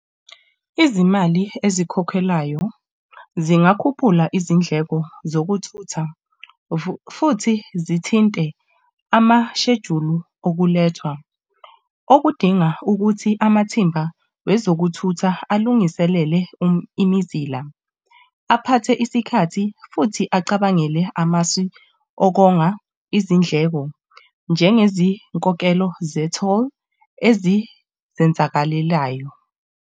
Izimali ezikhokhelayo zingakhuphula izindleko zokuthutha, futhi zithinte amashejulu okulethwa. Okudinga ukuthi amathimba wezokuthutha alungiselele imizila. Aphathe isikhathi futhi acabangele amasu okonga izindleko njengezinkokhelo ze-toll ezizenzakalelayo.